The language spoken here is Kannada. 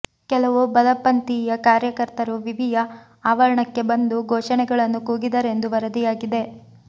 ಕೆಲವು ಬಲಪಂಥೀಯ ಕಾರ್ಯಕರ್ತರು ವಿವಿಯ ಆವರ ಣಕ್ಕೆ ಬಂದು ಘೋಷಣೆಗಳನ್ನು ಕೂಗಿದರೆಂದು ವರದಿಯಾಗಿದೆ